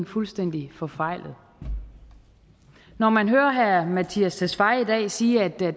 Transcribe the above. fuldstændig forfejlet når man hører herre mattias tesfaye i dag sige at der